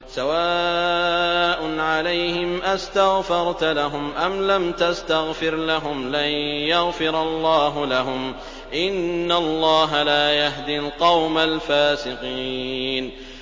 سَوَاءٌ عَلَيْهِمْ أَسْتَغْفَرْتَ لَهُمْ أَمْ لَمْ تَسْتَغْفِرْ لَهُمْ لَن يَغْفِرَ اللَّهُ لَهُمْ ۚ إِنَّ اللَّهَ لَا يَهْدِي الْقَوْمَ الْفَاسِقِينَ